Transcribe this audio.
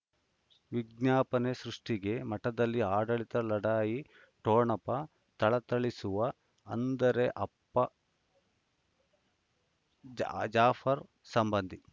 ವಿಜ್ಞಾಪನೆ ಸೃಷ್ಟಿಗೆ ಮಠದಲ್ಲಿ ಆಡಳಿತ ಲಢಾಯಿ ಠೊಣಪ ಥಳಥಳಿಸುವ ಅಂದರೆ ಅಪ್ಪ ಜ್ ಜಾಫರ್ ಸಂಬಂಧಿ